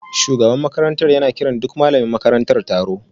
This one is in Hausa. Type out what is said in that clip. Shugaban makarantar yana kiran duk malamin taro